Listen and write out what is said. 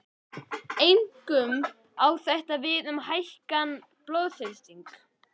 Einkum á þetta við um hækkaðan blóðþrýsting.